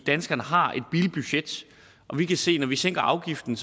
danskerne har et bilbudget og vi kan se at når vi sænker afgiften